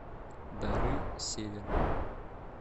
дары севера